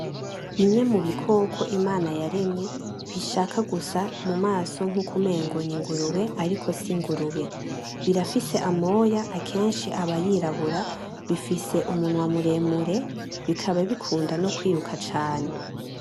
Bimwe mu bikoko Imana yaremye bishaka gusa mumaso nkuko umengo ni ingurube ariko si ingurube, birafise amoya kenshi aba yirabura bifise umunwa muremure bikaba bikunda no kwiruka cane .